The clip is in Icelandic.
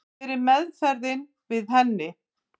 Hver er meðferðin við henni?